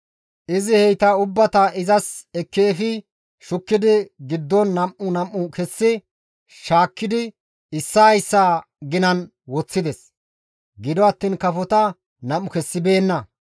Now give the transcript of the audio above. Izi heyta ubbata izas ekki efi shukkidi giddon nam7u nam7u kessi shaakkidi issaa issaa ginan woththides; gido attiin kafota nam7u kessibeenna.